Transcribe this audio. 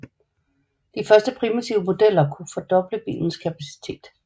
De første primitive modeller kunne fordoble bilens kapacitet